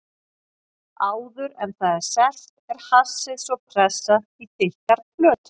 Áður en það er selt er hassið svo pressað í þykkar plötur.